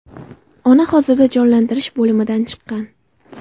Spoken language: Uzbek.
Ona hozirda jonlantirish bo‘limidan chiqqan.